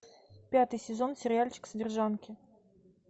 пятый сезон сериальчик содержанки